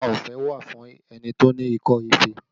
Ìwòsàn ọ̀fẹ́ wà fún ẹni tí ó ní ikọ́ ife